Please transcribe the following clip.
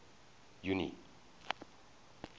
junie